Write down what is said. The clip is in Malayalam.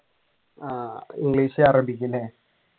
ആഹ് ഇംഗ്ലീഷ് അറബിക്ക് അല്ലെ